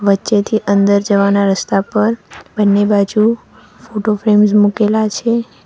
જેથી અંદર જવાના રસ્તા પર બંને બાજુ ફોટો ફ્રેમ મુકેલા છે.